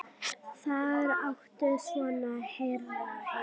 Þar áttu svona herðar heima.